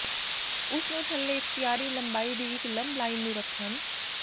ਉਸ ਨੂੰ ਥੱਲੇ ਇਖਤਿਆਰੀ ਲੰਬਾਈ ਦੀ ਇੱਕ ਲੰਬ ਲਾਈਨ ਨੂੰ ਰੱਖਣ